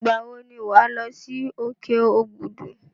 Ìgbà wọ ní o máa lọ sí òkè Òbùdù?